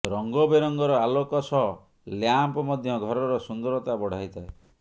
ରଙ୍ଗ ବେରଙ୍ଗର ଆଲୋକ ସହ ଲ୍ୟାମ୍ପ ମଧ୍ୟ ଘରର ସୁନ୍ଦରତା ବଢାଇଥାଏ